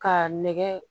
Ka nɛgɛ